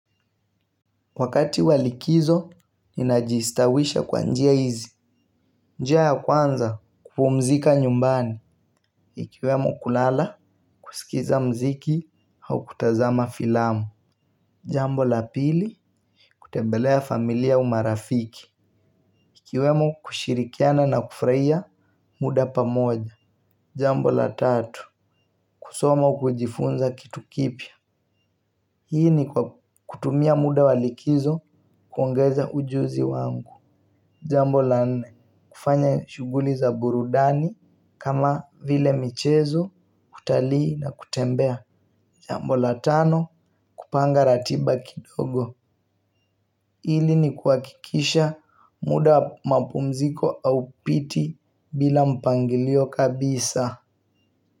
Wakati wa likizo ninajistawisha kwa njia hizi. Njia ya kwanza kupumzika nyumbani. Ikiwemo kulala, kusikiza muziki au kutazama filamu. Jambo la pili, kutembelea familia au marafiki. Ikiwemo kushirikiana na kufurahia muda pamoja. Jambo la tatu, kusoma au kujifunza kitu kipya. Hii ni kwa kutumia muda wa likizo kuongeza ujuzi wangu. Jambo la nne, kufanya shughuli za burudani kama vile michezo, utalii na kutembea. Jambo la tano, kupanga ratiba kidogo. Hili ni kuhakikisha muda wa mapumziko haupiti bila mpangilio kabisa.